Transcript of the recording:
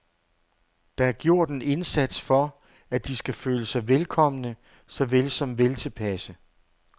Der er gjort en indsats for, at de skal føle sig velkomne såvel som veltilpasse.